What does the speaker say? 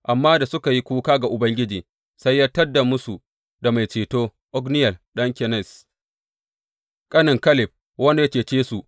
Amma da suka yi kuka ga Ubangiji, sai ya tad musu da mai ceto, Otniyel ɗan Kenaz, ƙanen Kaleb wanda ya cece su.